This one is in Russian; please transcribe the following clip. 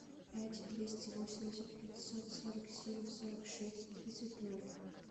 пять двести восемьдесят пятьсот сорок семь сорок шесть тридцать ноль